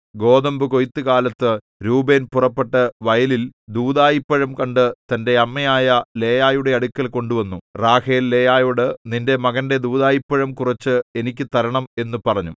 ഗോതമ്പുകൊയ്ത്തുകാലത്തു രൂബേൻ പുറപ്പെട്ട് വയലിൽ ദൂദായിപ്പഴം കണ്ടു തന്റെ അമ്മയായ ലേയായുടെ അടുക്കൽ കൊണ്ടുവന്നു റാഹേൽ ലേയായോട് നിന്റെ മകന്റെ ദൂദായിപ്പഴം കുറച്ച് എനിക്ക് തരണം എന്നു പറഞ്ഞു